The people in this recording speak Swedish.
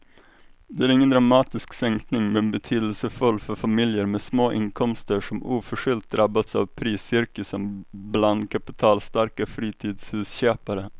Det är ingen dramatisk sänkning men betydelsefull för familjer med små inkomster som oförskyllt drabbats av priscirkusen bland kapitalstarka fritidshusköpare.